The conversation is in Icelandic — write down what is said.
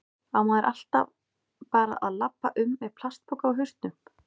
Á maður alltaf bara að labba um með plastpoka á hausnum?